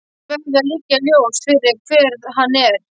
Því verður að liggja ljóst fyrir hver hann er.